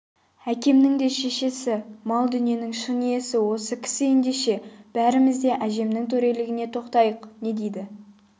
әкемнің де шешесі мал-дүниенің шын иесі осы кісі ендеше бәріміз де әжемнің төрелігіне тоқтайық не дейді